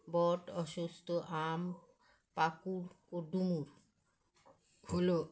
বট অস্বস্থ আম পাকুড় ও ডুমুর, হলো